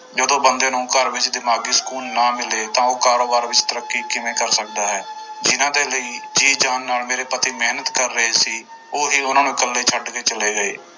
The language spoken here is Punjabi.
ਜਦੋਂ ਬੰਦੇ ਨੂੰ ਘਰ ਵਿੱਚ ਦਿਮਾਗੀ ਸਕੂਨ ਨਾ ਮਿਲੇ ਤਾਂ ਉਹ ਕਾਰੋਬਾਰ ਵਿੱਚ ਤਰੱਕੀ ਕਿਵੇਂ ਕਰ ਸਕਦਾ ਹੈ ਜਿਹਨਾਂ ਦੇ ਲਈ ਜੀਅ ਜਾਨ ਨਾਲ ਮੇਰੇ ਪਤੀ ਮਿਹਨਤ ਕਰ ਰਹੇ ਸੀ ਉਹ ਹੀ ਉਹਨਾਂ ਨੂੰ ਇਕੱਲੇ ਛੱਡ ਕੇ ਚਲੇ ਗਏ।